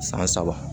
San saba